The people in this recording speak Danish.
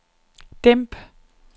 dæmp